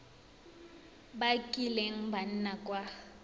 ba kileng ba nna kwa